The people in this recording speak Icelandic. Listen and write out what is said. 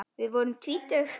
Við vorum tvítug.